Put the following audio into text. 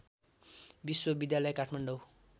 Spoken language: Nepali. विश्वविद्यालय काठमाडौँ